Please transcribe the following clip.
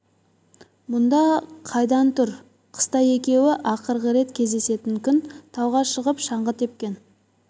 мұнда қайдан тұр қыста екеуі ақырғы рет кездесетін күн тауға шығып шаңғы тепкен